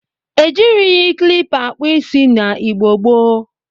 E jirighi klipa akpụ isi na Igbo gboo.